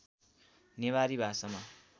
नेवारी भाषामा